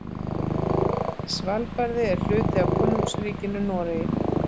Svalbarði er hluti af Konungsríkinu Noregi.